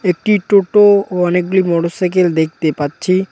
এট্টি টোটো ও অনেকগুলি মোটরসাইকেল দেখতে পাচ্ছি।